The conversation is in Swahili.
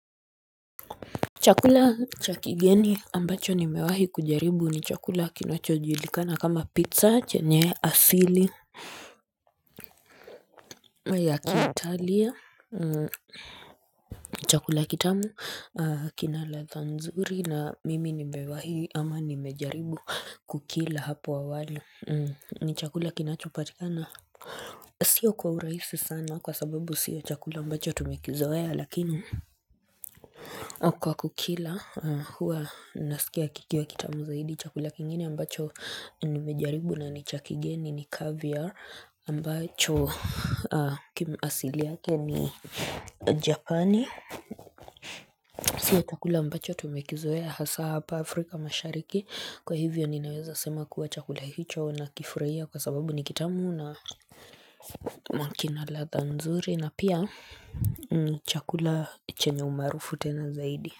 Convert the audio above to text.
Chakula cha kigeni ambacho nimewahi kujaribu ni chakula kinacho julikana kama pizza chenye asili ya kiitalia, chakula kitamu kinaladha nzuri na mimi nimewahi ama nimejaribu kukila hapo awali ni chakula kinachopatikana Sio kwa urahisi sana kwa sababu sio chakula ambacho tumekizoea lakini Kwa kukila huwa nasikia kikiwa kitamu zaidi chakula kingine ambacho nimejaribu na ni cha kigeni ni caviar ambacho kimasili yake ni japani Sio chakula ambacho tumekizoea hasa hapa Afrika mashariki kwa hivyo ninaweza sema kuwa chakula hicho nakifurahia kwa sababu ni kitamu na kina ladha nzuri na pia chakula chenye umaarufu tena zaidi.